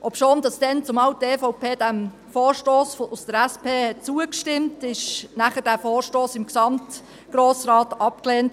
Obschon die EVP damals diesem Vorstoss der SP zugestimmt hatte, wurde er vom gesamten Grossen Rat abgelehnt.